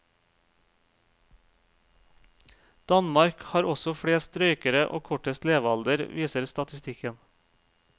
Danmark har også flest røykere og kortest levealder, viser statistikken.